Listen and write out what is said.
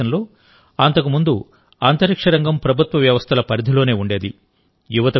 భారతదేశంలో అంతకుముందు అంతరిక్ష రంగం ప్రభుత్వ వ్యవస్థల పరిధిలోనే ఉండేది